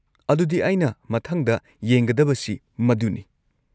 ꯑꯗꯨꯗꯤ ꯑꯩꯅ ꯃꯊꯪꯗ ꯌꯦꯡꯒꯗꯕꯁꯤ ꯃꯗꯨꯅꯤ꯫